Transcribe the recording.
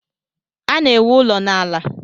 Ana-ewu ụlọ n'ala.